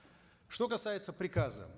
что касается приказа